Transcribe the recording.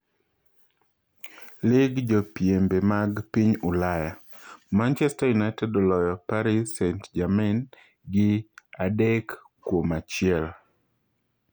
Lig jopiembe mag piny Ulaya: Manchester United oloyo Paris St-Germain gi 3-1.